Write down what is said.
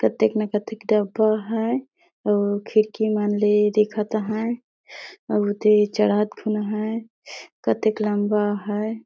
कतेक न कतेक डब्बा है अऊ खिड़की मन ले देखता हैं अऊ उहती चढ़त घलो हैं कतेक लम्बा है ।